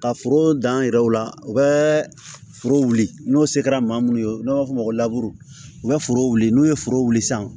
Ka foro dan an yɛrɛw la u bɛ foro wuli n'o se kɛra maa mun ye n'an b'a fɔ o ma ko u bɛ foro wuli n'u ye foro wuli sisan